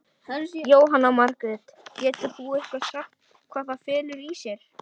Jóhanna Margrét: Getur þú eitthvað sagt hvað það felur í sér?